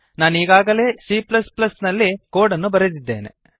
ನಾನೀಗಾಗಲೇ c ನಲ್ಲಿ code ಅನ್ನು ಬರೆದ್ದಿದ್ದೇನೆ